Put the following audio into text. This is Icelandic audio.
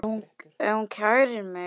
Ef hún kærir mig.